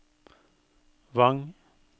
Vang